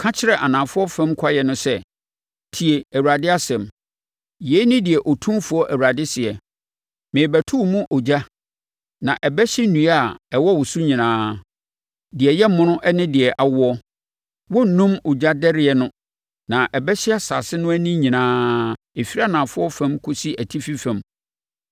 Ka kyerɛ anafoɔ fam kwaeɛ no sɛ: ‘Tie Awurade asɛm. Yei ne deɛ Otumfoɔ Awurade seɛ: Merebɛto wo mu ogya, na ɛbɛhye nnua a ɛwɔ wo so nyinaa: Deɛ ɛyɛ mono ne deɛ awoɔ. Wɔrennum ogyadɛreɛ no na ɛbɛhye asase no ani nyinaa; ɛfiri anafoɔ fam kɔsi atifi fam.